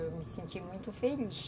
Eu me senti muito feliz.